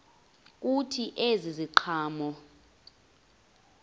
kuthi ezi ziqhamo